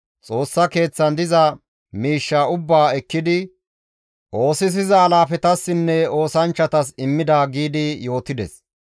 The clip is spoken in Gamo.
Xoossa Keeththan diza miishshaa ubbaa ekkidi oosisiza alaafetassinne oosanchchatas immida» giidi yootides.